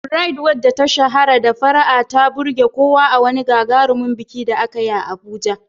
Bright, wacce ta shahara da fara'a, ta burge kowa a wani gagarumin biki da aka yi a Abuja.